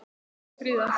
Það er ekki friðað.